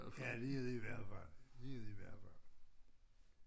Ja det det i hvert fald det det i hvert fald